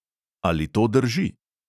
Ali to drži?